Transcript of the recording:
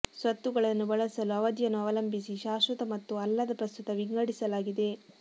ಸ್ವತ್ತುಗಳನ್ನು ಬಳಸಲು ಅವಧಿಯನ್ನು ಅವಲಂಬಿಸಿ ಶಾಶ್ವತ ಮತ್ತು ಅಲ್ಲದ ಪ್ರಸ್ತುತ ವಿಂಗಡಿಸಲಾಗಿದೆ